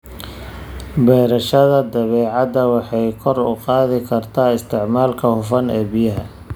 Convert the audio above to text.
Beerashada dhibicdu waxay kor u qaadaa isticmaalka hufan ee biyaha.